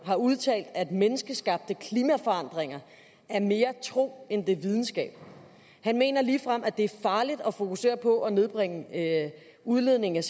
har udtalt at menneskeskabte klimaforandringer er mere tro end videnskab han mener ligefrem at det er farligt at fokusere på at nedbringe udledning af